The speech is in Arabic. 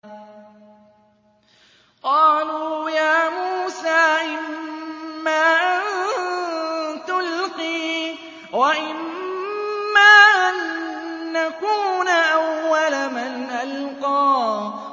قَالُوا يَا مُوسَىٰ إِمَّا أَن تُلْقِيَ وَإِمَّا أَن نَّكُونَ أَوَّلَ مَنْ أَلْقَىٰ